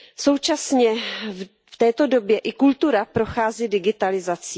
Současně v této době i kultura prochází digitalizací.